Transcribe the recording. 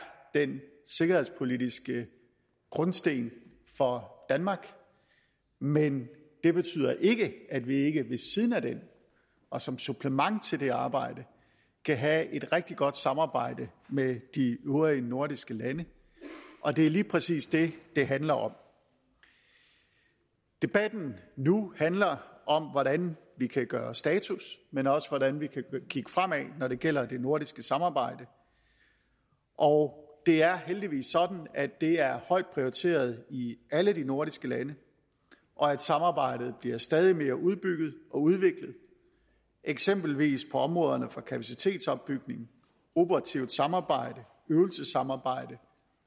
den sikkerhedspolitiske grundsten for danmark men det betyder ikke at vi ikke ved siden af den og som supplement til det arbejde kan have et rigtig godt samarbejde med de øvrige nordiske lande og det er lige præcis det det handler om debatten nu handler om hvordan vi kan gøre status men også hvordan vi kan kigge fremad når det gælder det nordiske samarbejde og det er heldigvis sådan at det er højt prioriteret i alle de nordiske lande og at samarbejdet bliver stadig mere udbygget og udviklet eksempelvis på områderne for kapacitetsopbygning operativt samarbejde øvelsessamarbejde